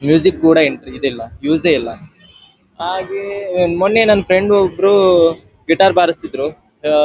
music ಕೂಡ ಇಲ್ಲ use ಇಲ್ಲ ಹಾಗೆ ಮೊನ್ನೆ ನನ್ನ ಫ್ರೆಂಡ್ ಒಬ್ಬರು ಗಿಟಾರ್ ಬಾರಿಸ್ತಿದ್ರು ಅಹ್‌ --